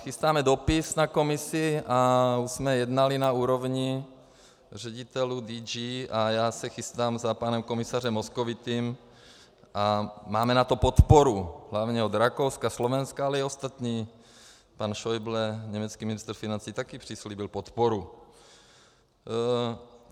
Chystáme dopis na Komisi a už jsme jednali na úrovni ředitelů DG a já se chystám za panem komisařem Moscovicim a máme na to podporu hlavně od Rakouska, Slovenska, ale i ostatní - pan Scheuble, německý ministr financí, také přislíbil podporu.